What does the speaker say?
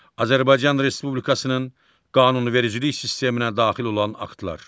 Azərbaycan Respublikasının qanunvericilik sisteminə daxil olan aktlar.